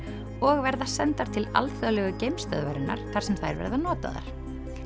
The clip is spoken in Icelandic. og verða sendar til alþjóðlegu þar sem þær verða notaðar